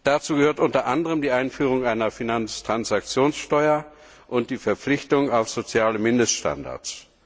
Dazu gehören unter anderem die Einführung einer Finanztransaktionssteuer und die Verpflichtung auf soziale Mindeststandards.